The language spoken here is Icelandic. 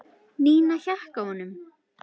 Nína hékk á honum.